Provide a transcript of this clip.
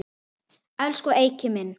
Elsku Eiki minn.